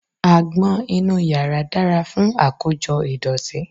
Àgbọn inú yàrá dára fún àkójọ ìdọ̀tí.